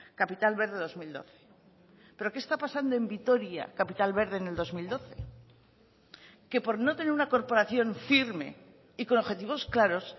capital verde dos mil doce pero qué está pasando en vitoria capital verde en el dos mil doce que por no tener una corporación firme y con objetivos claros